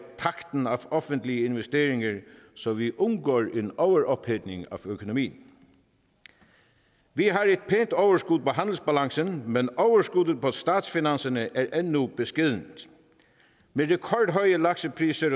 takten af offentlige investeringer så vi undgår en overophedning af økonomien vi har et pænt overskud på handelsbalancen men overskuddet på statsfinanserne er endnu beskedent med de rekordhøje laksepriser